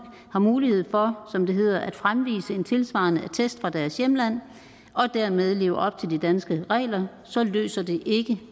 har mulighed for som det hedder at fremvise en tilsvarende attest fra deres hjemland og dermed leve op til de danske regler så løser det ikke